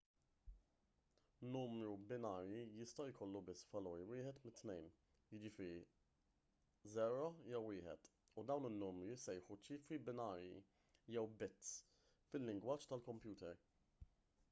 numru binarju jista' jkollu biss valur wieħed minn tnejn jiġifieri 0 jew 1 u dawn in-numri jissejħu ċifri binarji jew bits fil-lingwaġġ tal-kompjuter